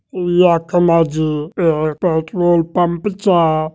यखमा जी एक पेट्रोल पम्प चा।